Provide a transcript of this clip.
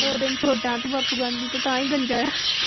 ਦੋ ਦਿਨ ਛੋਟਾ ਤੂੰ ਬਾਪੂ ਗਾਂਧੀ ਤੋਂ ਤਾਂ ਹੀ ਗੰਜਾ ਹੈ।